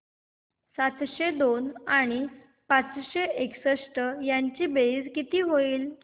सातशे दोन आणि पाचशे एकसष्ट ची बेरीज किती होईल